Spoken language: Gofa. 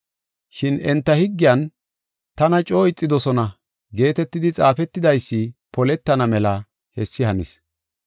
Shin enta higgiyan, ‘Tana coo ixidosona’ geetetidi xaafetidaysi poletana mela hessi hanis.